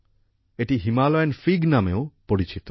এটি Himalayan fig নামেও পরিচিত